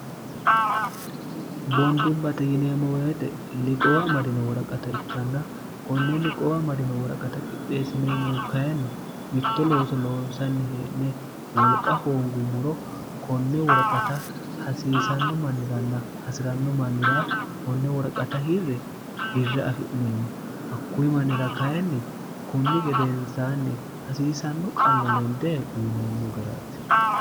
boondumbaxe yineemmo weyixe liqoowa madino woraqata ikkanna konne liqoowa madino woraqata qixxeessineemmohu kayinni mitto looso loonsanni hie'ne wolqa hoongummuro konne worqata hasiisanno manniranna hasi'ranno mannira konne worqata hirri birra afi'neemmo hakkuyi mannira kayinni kunni gedensaanni hasiisanno qallolende uyineemmo garaati